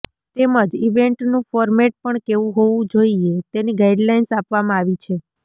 તેમજ ઇવેન્ટનું ફોરમેટ પણ કેવું હોવું જોઈએ તેની ગાઇડલાઇન્સ આપવામાં આવી છે